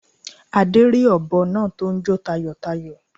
Adé rí òbọ náa tó n jó tayòtayò